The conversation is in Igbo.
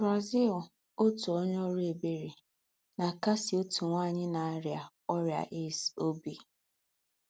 BRAZIL — Òtú ònyè órú ebèrè nà-àkásí òtú nwányị nà-àríá órị́à AIDS óbí.